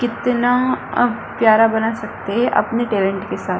कितना अ प्यारा बना सकते है अपने टैलेंट के साथ --